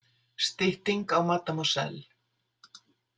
Stytting á mademoiselle.